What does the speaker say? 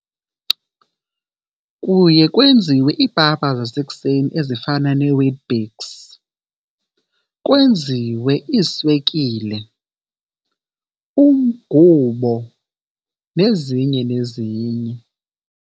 Kuye kwenziwe iipapa zasekuseni ezifana neeWeet-Bix, kwenziwe iiswekile, umgubo, nezinye nezinye.